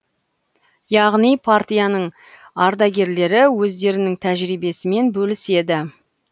яғни партияның ардагерлері өздерінің тәжірибесімен бөліседі